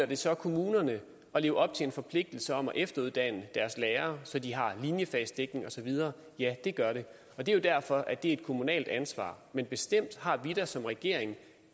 det så kommunerne at leve op til en forpligtelse om at efteruddanne deres lærere så de har linjefagsdækning osv ja det gør det det er derfor at det er et kommunalt ansvar men bestemt har vi da som regering